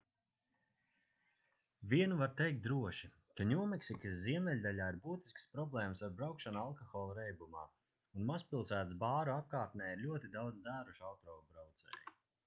vienu var teikt droši ka ņūmeksikas ziemeļdaļā ir būtiskas problēmas ar braukšanu alkohola reibumā un mazpilsētas bāru apkārtnē ir ļoti daudz dzērušu autobraucēju